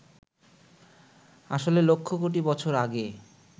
আসলে লক্ষ কোটি বছর আগে